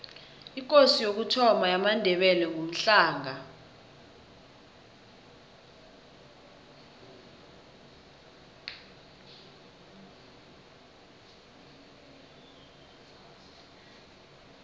ikosi yokuthoma yamandebele ngumhlanga